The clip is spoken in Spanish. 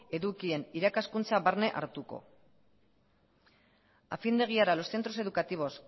edukien irakaskuntza barne hartuko a fin de guiar a los centros educativos